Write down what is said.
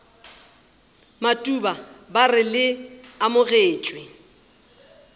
matuba ba re le amogetšwe